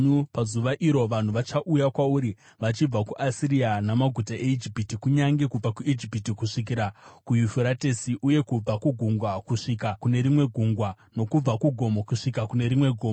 Pazuva iro vanhu vachauya kwauri vachibva kuAsiria namaguta eIjipiti, kunyange kubva kuIjipiti kusvikira kuYufuratesi, uye kubva kugungwa kusvika kune rimwe gungwa, nokubva kugomo kusvika kune rimwe gomo.